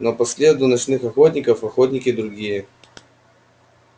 но по следу ночных охотников охотники другие